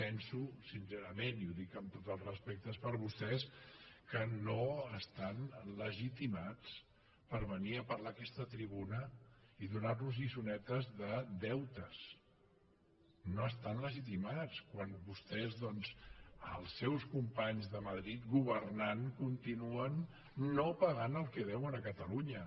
penso sincerament i ho dic amb tot el respecte per vostès que no estan legitimats per venir a parlar en aquesta tribuna i donar nos lliçonetes de deutes no hi estan legitimats quan vostès doncs els seus companys de madrid governant continuen no pagant el que deuen a catalunya